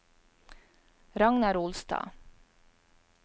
Ragnar Olstad